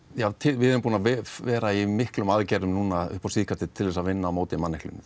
við erum búin að vera í miklum aðgerðum upp á síðkastið til að vinna á móti manneklu